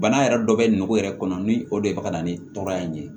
Bana yɛrɛ dɔ bɛ nugu yɛrɛ kɔnɔ ni o de bɛ ka na ni tɔɔrɔya in ye